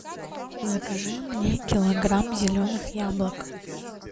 закажи мне килограмм зеленых яблок